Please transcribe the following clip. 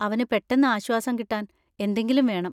അവന് പെട്ടെന്ന് ആശ്വാസം കിട്ടാൻ എന്തെങ്കിലും വേണം.